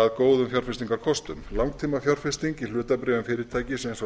að góðum fjárfestingarkostum langtímafjárfesting í hlutabréfum fyrirtækis eins og